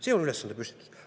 See on ülesandepüstitus.